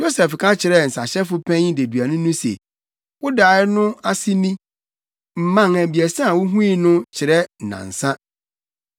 Yosef ka kyerɛɛ nsahyɛfo panyin deduani no se, “Wo dae no ase ni: mman abiɛsa a wuhui no kyerɛ nnansa.